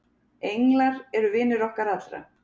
Englar eru vinir okkar allra.